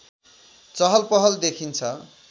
चहलपहल देखिन्छ